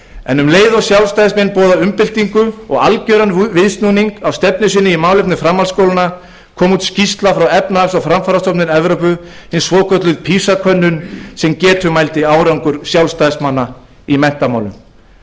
en um leið og sjálfstæðismenn boðuðu umbyltingu og algjörum viðsnúningi á stefnu sinni í málefnum framhaldsskólanna nú í vetur kom út skýrsla frá efnahags og framfarastofnun evrópu hin svokallaða pisa könnun sem getumældi árangur sjálfstæðismanna í menntamálum